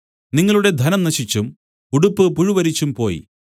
നിങ്ങളുടെ ധനം നശിച്ചും ഉടുപ്പ് പുഴുവരിച്ചും പോയി